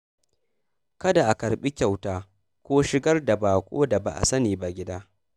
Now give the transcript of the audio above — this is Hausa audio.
Kada a karɓi kyauta ko shigar da baƙo da ba a sani ba gida.